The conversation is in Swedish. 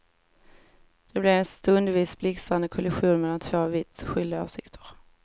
Det blev en stundvis blixtrande kollision mellan två vitt skilda åsikter.